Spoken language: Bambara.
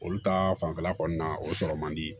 Olu ta fanfɛla kɔni na o sɔrɔ man di